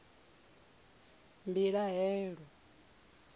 mbilahelo